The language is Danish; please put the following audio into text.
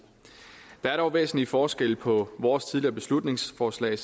der er dog væsentlige forskelle på vores tidligere beslutningsforslag